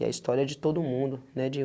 E a história é de todo mundo, né, de um